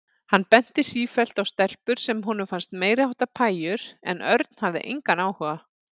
Hann benti sífellt á stelpur sem honum fannst meiriháttar pæjur en Örn hafði engan áhuga.